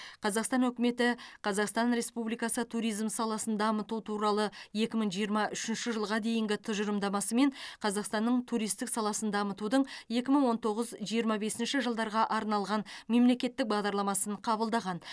қазақстан үкіметі қазақстан республикасы туризм саласын дамыту туралы екі мың жиырма үшінші жылға дейінгі тұжырымдамасы мен қазақстанның туристік саласын дамытудың екі мың он тоғыз жиырма бесінші жылдарға арналған мемлекеттік бағдарламасын қабылдаған